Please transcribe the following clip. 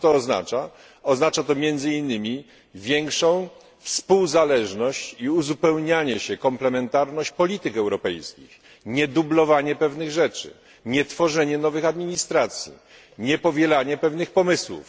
Oznacza to między innymi większą współzależność i uzupełnianie się, komplementarność polityk europejskich, aby nie dublować pewnych rzeczy, nie tworzyć nowych administracji i nie powielać pewnych pomysłów.